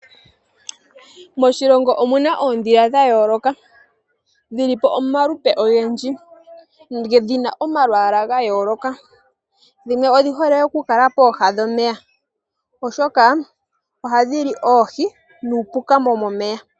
Moshilongo omuna oondhila dha yooloka, dhili po omalupe ogendji, ngedhina omalwaala ga yooloka, dhimwe odhi hole oku kala pooha dhomeya oshoka ohadhi li oohii nuupuka womomeya.